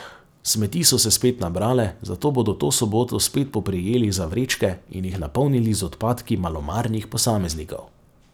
Smeti so se spet nabrale, zato bodo to soboto spet poprijeli za vrečke in jih napolnili z odpadki malomarnih posameznikov.